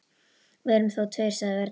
Við erum þó tveir, sagði Örn.